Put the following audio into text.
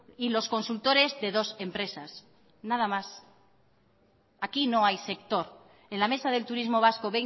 y los consultores de dos empresas nada más aquí no hay sector en la mesa del turismo vasco